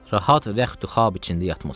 Rahat rəxd-i xab içində yatmısınız.